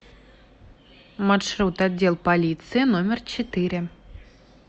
маршрут отдел полиции номер четыре